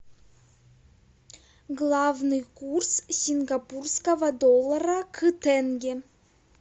главный курс сингапурского доллара к тенге